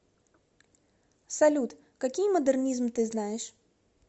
салют какие модернизм ты знаешь